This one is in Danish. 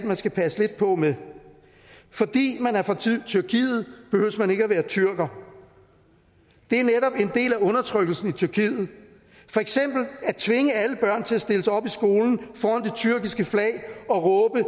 man skal passe lidt på med fordi man er fra tyrkiet behøver man ikke at være tyrker det er netop en del af undertrykkelsen i tyrkiet for eksempel at tvinge alle børn til at stille sig op i skolen foran den tyrkiske flag og råbe